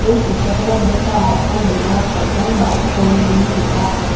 এই চিত্ৰখনত দেখা এখন বেনাৰ ত পাঠান বাইক পইণ্ট বুলি লেখা আছে।